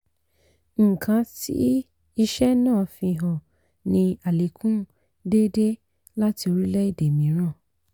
nǁkan tí isẹ́ náà fi hàn ní àlékún déédéé láti orílẹ̀ èdè mìíràn.